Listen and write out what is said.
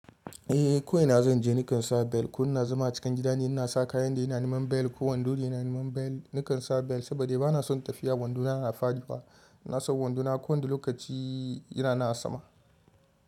Eh ko ina zan je nikan sa bel, ko ina zama cikin gida ne, ina sa kayan da yana niman bel ko wando ne yana niman bel, nikan sa bel saboda bana son tafiya wando na na faɗi fa. Ina son wando na ko wanda lokaci yana na a sama.